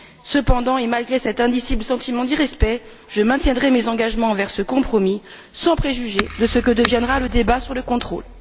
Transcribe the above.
Cependant, et malgré cet indicible sentiment d'irrespect, je maintiendrai mes engagements envers ce compromis, sans préjuger de ce que deviendra le débat sur le contrôle.